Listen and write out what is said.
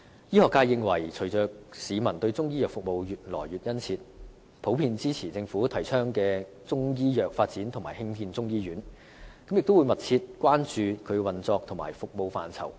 醫學界認為隨着市民對中醫藥服務需求越來越殷切，普遍也支持政府提倡的中醫藥發展及興建中醫院，亦會密切關注它的運作和服務範疇。